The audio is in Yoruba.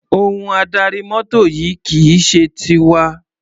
Ohun adarí mọ́tò yìí kì í ṣe tiwa.